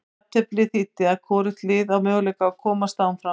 Jafnteflið þýddi að hvorugt liðið á möguleika að komast áfram.